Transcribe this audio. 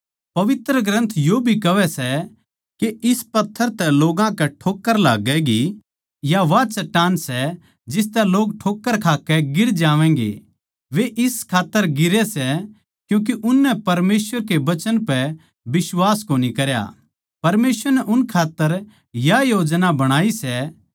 पवित्र ग्रन्थ यो भी कहवै सै के इस पत्थर तै लोग्गां कै ठोक्कर लाग्गैगी या वा चट्टान सै जिसतै लोग ठोक्कर खाकै गिर जावैंगे वे इस खात्तर गिरै सै क्यूँके उननै परमेसवर के वचन पै बिश्वास कोणी करया परमेसवर नै उन खात्तर याए योजना बणाई सै